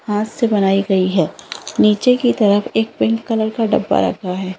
हाथ से बनाई गई है नीचे की तरफ एक पिंक कलर का डब्बा रखा है ।